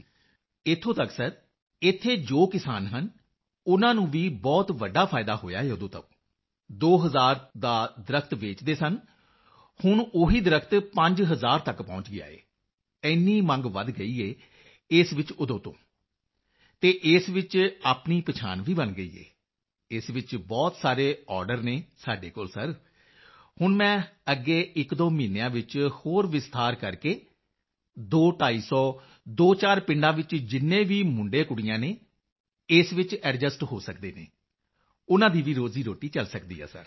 ਮੰਜ਼ੂਰ ਜੀ ਇੱਥੋਂ ਤੱਕ even sir ਇੱਥੇ ਜੋ ਕਿਸਾਨ ਫਾਰਮਰ ਹਨ ਸਰ ਉਨ੍ਹਾਂ ਨੂੰ ਵੀ ਬਹੁਤ ਵੱਡਾ ਫਾਇਦਾ ਹੋਇਆ ਹੈ ਉਦੋਂ ਤੋਂ 2000 ਦਾ ਦਰੱਖਤ ਟ੍ਰੀ ਵੇਚਦੇ ਸਨ ਹੁਣ ਉਹੀ ਦਰੱਖਤ ਟ੍ਰੀ 5000 ਤੱਕ ਪਹੁੰਚ ਗਿਆ ਸਰ ਇੰਨੀ ਮੰਗ ਵਧ ਗਈ ਹੈ ਇਸ ਵਿੱਚ ਉਦੋਂ ਤੋਂ ਅਤੇ ਇਸ ਵਿੱਚ ਆਪਣੀ ਪਛਾਣ ਵੀ ਬਣ ਗਈ ਹੈ ਇਸ ਵਿੱਚ ਬਹੁਤ ਸਾਰੇ ਆਰਡਰ ਹਨ ਸਾਡੇ ਕੋਲ ਸਰ ਹੁਣ ਮੈਂ ਅੱਗੇ ਇਕਦੋ ਮਹੀਨਿਆਂ ਵਿੱਚ ਹੋਰ ਵਿਸਥਾਰ ਕਰਕੇ ਅਤੇ ਦੋਢਾਈ ਸੌ 24 ਪਿੰਡਾਂ ਵਿੱਚ ਜਿੰਨੇ ਵੀ ਮੁੰਡੇਕੁੜੀਆਂ ਹਨ ਇਸ ਵਿੱਚ ਐਡਜਸਟ ਹੋ ਸਕਦੇ ਹਨ ਉਨ੍ਹਾਂ ਦੀ ਵੀ ਰੋਜ਼ੀਰੋਟੀ ਚਲ ਸਕਦੀ ਹੈ ਸਰ